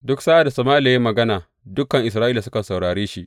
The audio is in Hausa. Duk sa’ad da Sama’ila ya yi magana dukan Isra’ila sukan saurare shi.